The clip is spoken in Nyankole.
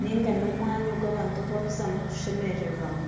niga n'omwanya ogu bantu bakuzamu kushemererwamu